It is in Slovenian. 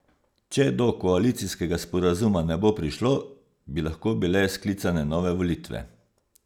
Če do koalicijskega sporazuma ne bo prišlo, bi lahko bile sklicane nove volitve.